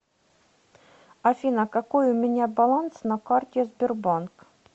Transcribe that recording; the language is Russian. афина какой у меня баланс на карте сбербанк